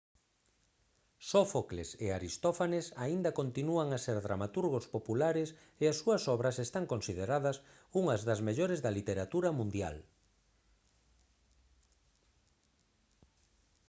sófocles e aristófanes aínda continúan a ser dramaturgos populares e as súas obras están consideradas unhas das mellores da literatura mundial